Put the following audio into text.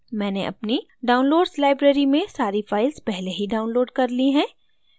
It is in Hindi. मैंने अपनी downloads library में सारी files पहले ही downloaded कर ली हैं